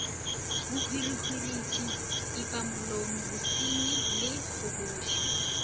bohwirihwitši pipamolomo bosenyi le kgobošo